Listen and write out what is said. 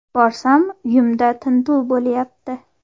Borsam, uyimda tintuv bo‘lyapti.